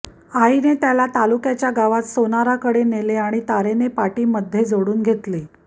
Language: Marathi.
आईने त्याला तालुक्याच्या गावात सोनाराकडे नेले आणि तारेने पाटी मधे जोडून घेतली